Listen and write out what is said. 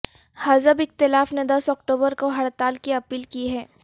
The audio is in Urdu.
حزب اختلاف نے دس اکتوبر کو ہڑتال کی اپیل کی ہے